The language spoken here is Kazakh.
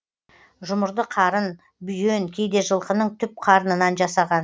жұмырды қарын бүйен кейде жылқының түп қарнынан жасаған